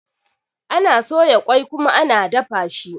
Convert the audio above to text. Ana soya ƙoi kuma ana dafa shi.